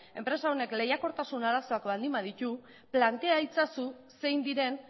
enpresa honek lehiakortasun arazoak baldin baditu plantea itzazu zein diren